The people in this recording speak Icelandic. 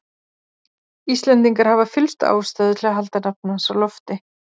Íslendingar hafa fyllstu ástæðu til að halda nafni hans á lofti.